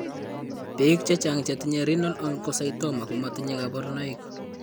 Biko chechang' chetinye Renal Oncocytoma ko matinye kabarunoik.